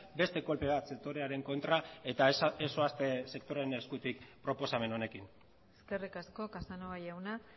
beste kolpe bat sektorearen kontra eta ez zoazte sektorearen eskutik proposamen honekin eskerrik asko casanova jauna